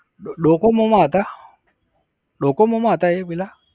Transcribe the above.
Docomo માં હતા? Docomo માં હતા એ પહેલા?